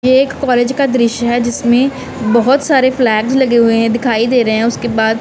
ये एक कॉलेज का दृश्य है जिसमें बहुत सारे फ्लैगस लगे हुए हैं दिखाई दे रहे हैं उसके बाद--